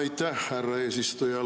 Aitäh, härra eesistuja!